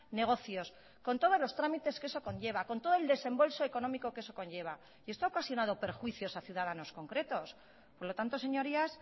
negocios con todos los trámites que eso conlleva con todo el desembolso económico que eso conlleva y esto ha ocasionado perjuicios a ciudadanos concretos por lo tanto señorías